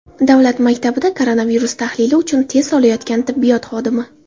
Davlat maktabida koronavirus tahlili uchun test olayotgan tibbiyot xodimi.